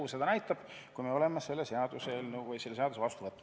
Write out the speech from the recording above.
Eks seda näitab elu, kui oleme selle seaduse vastu võtnud.